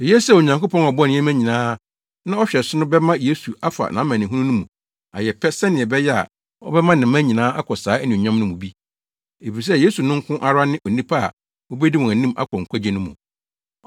Eye sɛ Onyankopɔn a ɔbɔɔ nneɛma nyinaa na ɔhwɛ so no bɛma Yesu afa nʼamanehunu no mu ayɛ pɛ sɛnea ɛbɛyɛ a ɔbɛma ne mma nyinaa akɔ saa anuonyam no mu bi. Efisɛ Yesu no nko ara ne Onipa a obedi wɔn anim akɔ nkwagye no mu.